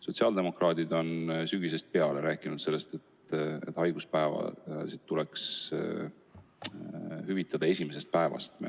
Sotsiaaldemokraadid on sügisest peale rääkinud, et haiguspäevi tuleks hüvitada esimesest päevast alates.